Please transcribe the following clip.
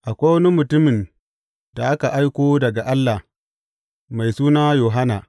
Akwai wani mutumin da aka aiko daga Allah; mai suna Yohanna.